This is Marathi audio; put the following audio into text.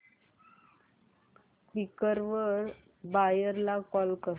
क्वीकर वर बायर ला कॉल कर